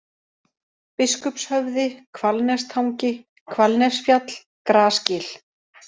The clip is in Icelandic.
Biskupshöfði, Hvalnestangi, Hvalnesfjall, Grasgil